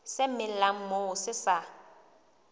se melang moo se sa